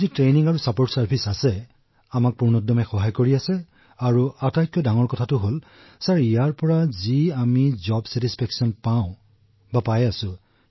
আমাৰ প্ৰশিক্ষণ আৰু সমৰ্থন সেৱা যি আছে আমাক পূৰ্ণৰূপে সহায় কৰিছে আৰু কাম কৰি খুব ভাল লাগিছে